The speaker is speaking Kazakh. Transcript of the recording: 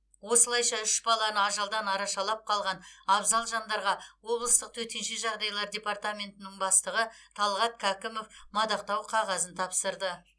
осылайша үш баланы ажалдан арашалап қалған абзал жандарға облыстық төтенше жағдайлар департаментнің бастығы талғат кәкімов мадақтау қағазын тапсырды